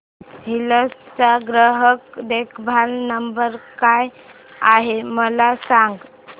hills चा ग्राहक देखभाल नंबर काय आहे मला सांग